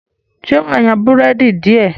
ṣe wá yan Búrẹ́dì diẹ?